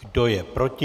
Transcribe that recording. Kdo je proti?